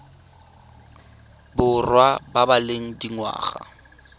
borwa ba ba leng dingwaga